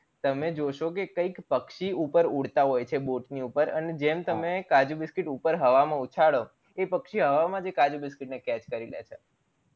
તમે જોશો કે કયક પક્ષી ઉપર ઉડતા હોય છે boat ની ઉપર અને જેમ તમે કાજુ biscuit ઉપર હવા માં ઉછાળો એ પક્ષી હવા માં જે કાજુ biscuit ને catch કરી લે છે